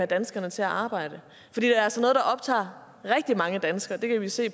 danskerne til at arbejde for det er altså noget der optager rigtig mange danskere det kan vi se